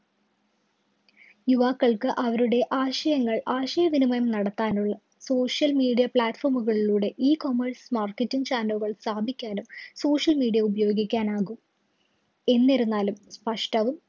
യുവാക്കള്‍ക്ക് അവരുടെ ആശയങ്ങള്‍ ആശയവിനിമയം നടത്താനുള്ള social media platform കളിലൂടെ ecommerce marketing channel കള്‍ സ്ഥാപിക്കാനും social media ഉപയോഗിക്കാനാകും. എന്നിരുന്നാലും സ്പഷ്ട്ടവും